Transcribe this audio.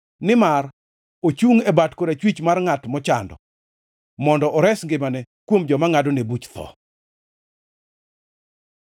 Nimar ochungʼ e bat korachwich mar ngʼat mochando, mondo ores ngimane kuom joma ngʼadone buch tho.